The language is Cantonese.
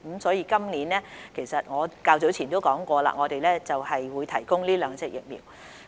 所以，我較早前已說過，政府今年會提供這兩款疫苗。